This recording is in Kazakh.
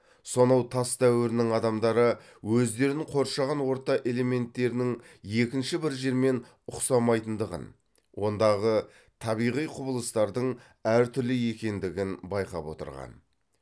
сонау тас дәуірінің адамдары өздерін қоршаған орта элементтерінің екінші бір жермен ұқсамайтындығын ондағы табиғи құбылыстардың әр түрлі екендігін байқап отырған